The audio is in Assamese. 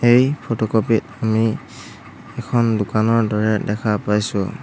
এই ফটোকপি ত আমি এখন দোকানৰ দৰে দেখা পাইছোঁ।